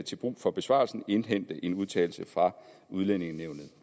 til brug for besvarelsen indhente en udtalelse fra udlændingenævnet